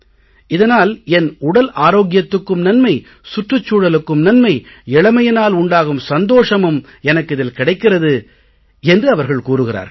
இதனால் என் உடல் ஆரோக்கியத்துக்கும் நன்மை சுற்றுச் சூழலுக்கும் நன்மை இளமையினால் உண்டாகும் சந்தோஷமும் எனக்கு இதில் கிடைக்கிறது என்று அவர்கள் கூறுகிறார்கள்